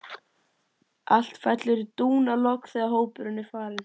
Allt fellur í dúnalogn þegar hópurinn er farinn.